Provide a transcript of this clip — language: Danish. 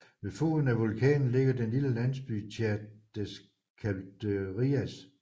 Ved foden af vulkanen ligger den lille landsby Chã das Caldeiras